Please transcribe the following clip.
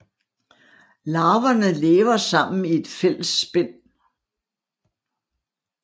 Larverne lever sammen i et fælles spind